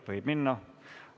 Võib minna.